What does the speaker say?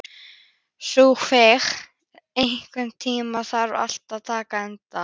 Sophus, einhvern tímann þarf allt að taka enda.